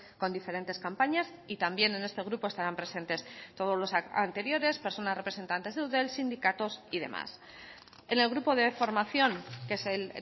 con diferentes campañas y también en este grupo estarán presentes todos los anteriores personas representantes de eudel sindicatos y demás en el grupo de formación que es el